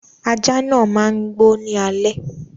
Aja náà má n gbó ní alẹ́